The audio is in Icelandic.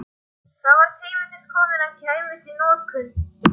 Það var tími til kominn að hann kæmist í notkun!